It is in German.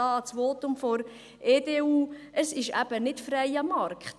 Das Votum der EDU: Es ist eben nicht freier Markt;